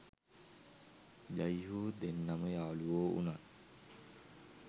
ජයි හෝ දෙන්නම යාළුවො වුනත්